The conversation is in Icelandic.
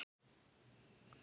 Hún er með í öllu